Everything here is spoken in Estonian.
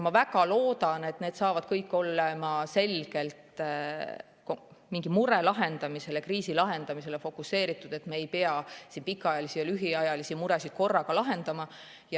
Ma väga loodan, et need saavad kõik olema selgelt mingi mure lahendamisele, kriisi lahendamisele fokuseeritud, et me ei pea siin pikaajalisi ja lühiajalisi muresid korraga lahendama.